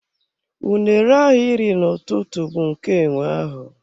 Unere ahụ iri n'ụtụtụ bụ nke enwe ahụ.